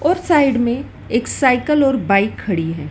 उस साइड में एक साइकल और बाइक खड़ी है।